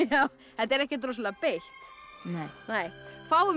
þetta er ekkert rosalega beitt nei fáum